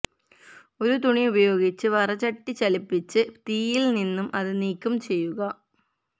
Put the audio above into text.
ഒരു തുണി ഉപയോഗിച്ച് വറചട്ടി ചലിപ്പിച്ച് തീയിൽ നിന്ന് അത് നീക്കം ചെയ്യുക